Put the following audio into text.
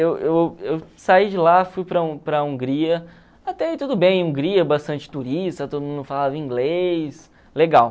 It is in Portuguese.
Eu eu eu saí de lá, fui para a para a Hungria, até aí tudo bem, Hungria, bastante turista, todo mundo falava inglês, legal.